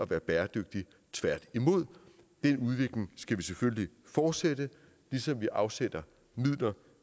være bæredygtig tværtimod den udvikling skal vi selvfølgelig fortsætte ligesom vi afsætter midler